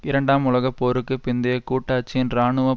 இரண்டாம் உலக போருக்கு பிந்தைய கூட்டாட்சியின் இராணுவ